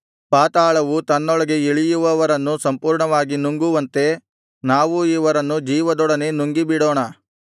ಪಾತಾಳವು ತನ್ನೊಳಗೆ ಇಳಿಯುವವರನ್ನು ಸಂಪೂರ್ಣವಾಗಿ ನುಂಗುವಂತೆ ನಾವೂ ಇವರನ್ನು ಜೀವದೊಡನೆ ನುಂಗಿಬಿಡೋಣ